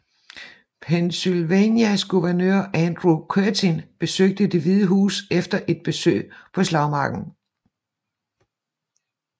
Pennsylvanias guvernør Andrew Curtin besøgte Det hvide Hus efter et besøg på slagmarken